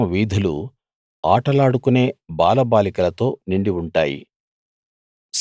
ఆ పట్టణం వీధులు ఆటలాడుకునే బాలబాలికలతో నిండి ఉంటాయి